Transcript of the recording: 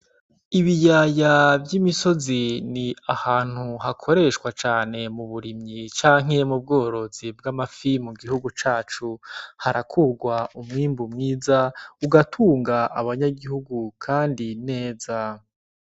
Ibiyaya vy'imisozi ni ahantu hakoreshwa cane mu burimyi canke mu bworozi bw'amafi mu gihugu cacu. Harakurwa umwimbu mwiza, ugatunga abanyagihugu kandi neza.